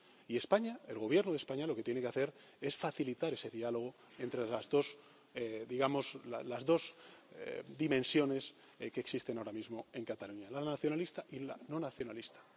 Y España, el Gobierno de España, lo que tiene que hacer es facilitar ese diálogo entre las dos, digamos, las dos dimensiones que existen ahora mismo en Cataluña la nacionalista y la no nacionalista.